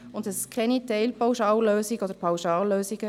Wir wollen keine Teilpauschallösungen oder Pauschallösungen.